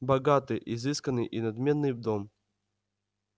богатый изысканный и надменный дом